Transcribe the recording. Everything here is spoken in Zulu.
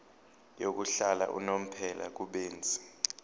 yokuhlala unomphela kubenzi